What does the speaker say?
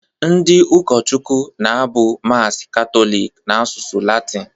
Ndị ụkọchukwu na-abụ Mass Katọlik n’asụsụ Latịn